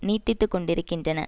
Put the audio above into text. நீட்டித்துக்கொண்டிருக்கின்றன